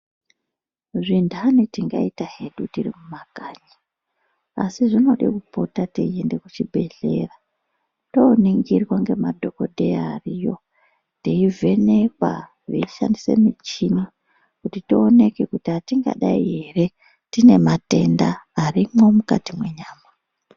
Zvinthani tingaita hedu tiri mumakanyi, asi zvinode kupota teiende kuchibhedhlera tooningirwa ngemadhokodheya ariyo, teivhenekwa veishandise michini kuti tioneke kuti atingadai ere ,tine matenda arimwo mukati mwenyama.